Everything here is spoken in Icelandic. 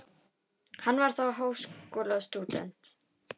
Hann var þá háskólastúdent